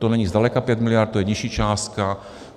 To není zdaleka 5 mld., to je nižší částka.